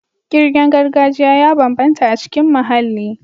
Ƙirgen gargajiya ya bambanta a cikin muhalli.